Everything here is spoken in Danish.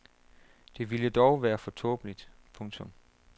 Det ville dog være for tåbeligt. punktum